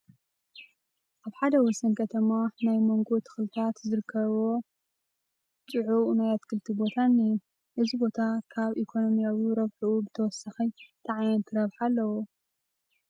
ኣብ ሓደ ወሰን ከተማ ናይ ማንጐ ተኽልታት ዝርከብዎ ፅዑቕ ናይ ኣትክልቲ ቦታ እኒሀ፡፡ እዚ ቦታ ካብ ኢኮነሚያዊ ረብሕኡ ብተወሳኺ እንታይ ዓይነት ረብሓ ኣለዎ?